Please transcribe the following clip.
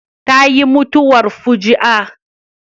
Ta yi mutuwar fuji'a